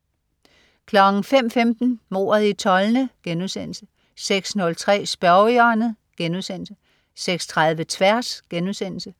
05.15 Mordet i Tolne* 06.03 Spørgehjørnet* 06.30 Tværs*